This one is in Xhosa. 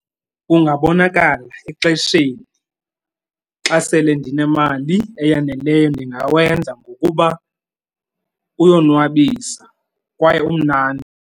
Kungabonakali exesheni xa sele ndinemali eyaneleyo ndingawenza ngokuba uyonwabisa kwaye umnandi.